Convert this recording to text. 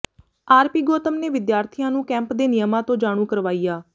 RP Gautam ਨੇ ਵਿਦਿਆਰਥੀਆਂ ਨੂੰ ਕੈਂਪ ਦੇ ਨਿਯਮਾਂ ਤੋਂ ਜਾਣੂ ਕਰਵਾਇਆ